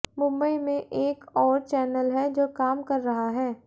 मुंबई में एक और चैनल है जो काम कर रहा है